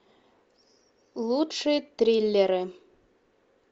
лучшие триллеры